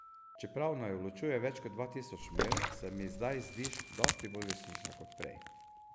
Čeprav naju ločuje več kot dva tisoč milj, se mi zdaj zdiš dosti bolj resnična kot prej.